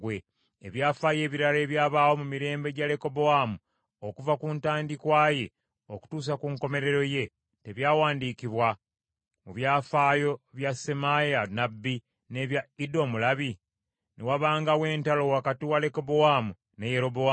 Ebyafaayo ebirala ebyabaawo mu mirembe gya Lekobowaamu okuva ku ntandikwa ye okutuusa ku nkomerero ye, tebyawandiikibwa mu byafaayo bya Semaaya nnabbi n’ebya Iddo omulabi? Ne wabangawo entalo wakati wa Lekobowaamu ne Yerobowaamu.